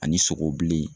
Ani sogo bilen